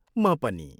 म पनि।